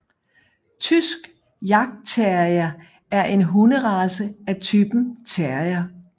Tysk jagtterrier er en hunderace af typen terrier